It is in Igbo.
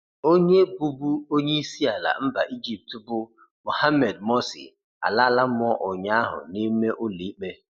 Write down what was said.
Onye bụbu onye isiala mba Ejipt, bụ Mohammed Morsi alala mụọ ụnyahụ n'ime ụlọikpe.